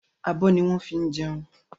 Abọ́ ni wọ́n ń fi jẹun.